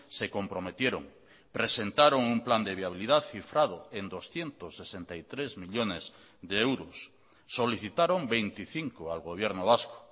se comprometieron presentaron un plan de viabilidad cifrado en doscientos sesenta y tres millónes de euros solicitaron veinticinco al gobierno vasco